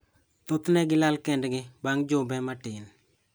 Thothne gilal kendgi bang' jumbe matin.